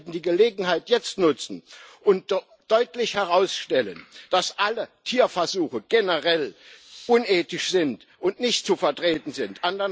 Wir sollten die Gelegenheit jetzt nutzen und deutlich herausstellen, dass alle Tierversuche generell unethisch und nicht zu vertreten sind.